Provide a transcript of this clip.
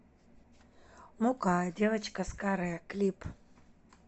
мукка девочка с каре клип